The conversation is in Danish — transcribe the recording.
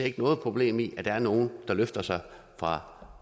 ikke noget problem i at der er nogle der løfter sig fra